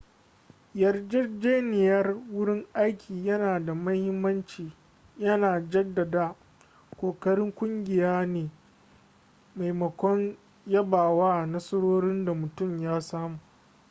yarjejeniyar wurin aiki yana da mahimmanci yana jaddada ƙoƙarin kungiya ne maimakon yaba wa nasarorin da mutum ya samu